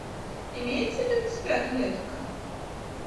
имеется ли у тебя клетка